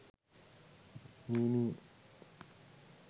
meme